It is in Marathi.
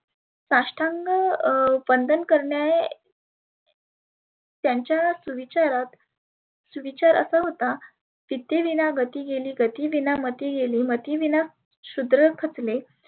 साष्टांग अं वंदन करणे त्याच्याच विचारास सुविचार असा होता विद्ये विना गती गेली, गती विना मती गेली मती, विना शुध्र खचले